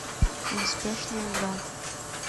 неспешная игра